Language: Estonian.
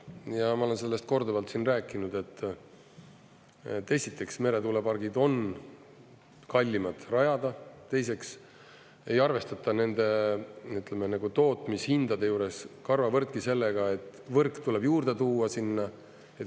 Ja ma olen sellest korduvalt siin rääkinud, et esiteks, meretuulepargid on kallimad rajada, teiseks ei arvestata nende tootmishindade juures karvavõrdki sellega, et võrk tuleb juurde tuua sinna.